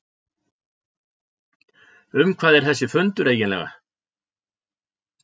Um hvað er þessi fundur eiginlega?